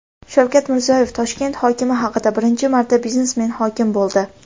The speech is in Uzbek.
Shavkat Mirziyoyev Toshkent hokimi haqida: "Birinchi marta biznesmen hokim bo‘ldi".